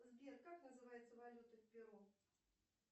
сбер как называется валюта в перу